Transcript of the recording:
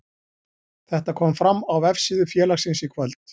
Þetta kom fram á vefsíðu félagsins í kvöld.